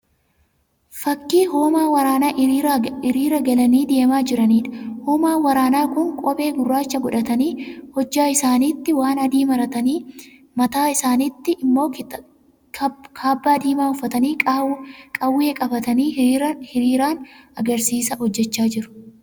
Fakkii hoomaa waraanaa hiriira galanii deemaa jiraniidha. Hoomaan waraanaa kun kophee gurraacha godhatanii, hojjaa isaaniitti waan adii maratanii, mataa isaaniitti immoo kaabbaa diimaa uffatanii qawwee qabatanii hiriiraan agarsiisa hojjechaa jiru.